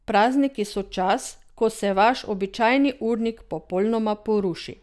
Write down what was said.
Prazniki so čas, ko se vaš običajni urnik popolnoma poruši.